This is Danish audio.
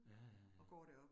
Ja ja ja